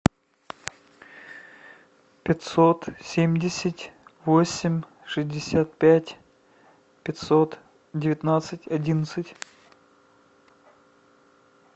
пятьсот семьдесят восемь шестьдесят пять пятьсот девятнадцать одиннадцать